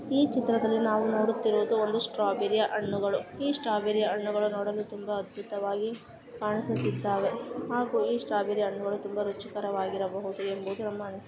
ಈ ಚಿತ್ರದಲ್ಲಿ ನಾವು ನೋಡೂತ್ತಿರುದು ಒಂದು ಸ್ಟ್ರಾಬರಿ ಹಣ್ಣುಗಳು । ಈ ಸ್ಟ್ರಾಬರಿ ಹಣ್ಣುಗಳು ತುಂಬಾ ಅದ್ಭುತವಾಗಿ ಕಾಣಿಸುತ್ತದಾವೆ ಹಾಗು ಈ ಸ್ಟ್ರಾಬರಿ ಹಣ್ಣುಗಳು ತುಂಬಾ ರುಚಿಕರವಾಗಿರಬಹುದು ಎಂಬುದು ಒಮ್ಮೆ